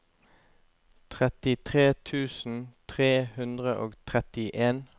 trettitre tusen tre hundre og trettien